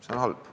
See on halb.